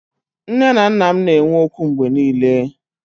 Nné na nnà m na enwe ókwú mgbé niile